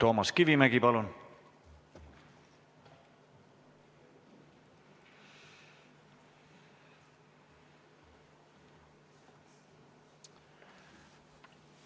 Toomas Kivimägi, palun!